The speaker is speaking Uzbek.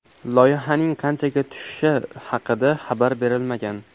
Loyihaning qanchaga tushishi haqida xabar berilmagan.